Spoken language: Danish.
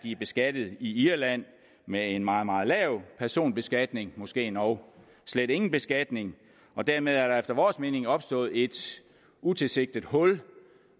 er beskattet i irland med en meget meget lav personbeskatning måske endog slet ingen beskatning dermed er der efter vores mening opstået et utilsigtet hul